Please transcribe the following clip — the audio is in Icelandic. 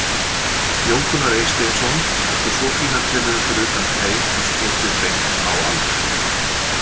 Jón Gunnar Eysteinsson átti svo fína tilraun fyrir utan teig en skotið beint á Albert.